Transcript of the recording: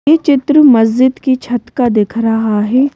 ये चित्र मस्जिद की छत का दिख रहा है।